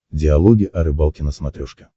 диалоги о рыбалке на смотрешке